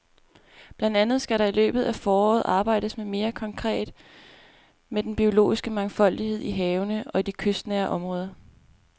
Blandt andet skal der i løbet af foråret arbejdes mere konkret med den biologiske mangfoldighed i havene og i de kystnære områder.